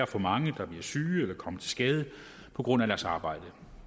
for mange der bliver syge eller kommer til skade på grund af deres arbejde og